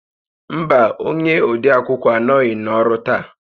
Mba, onye odeakwụkwọ anọghị n'ọrụ taa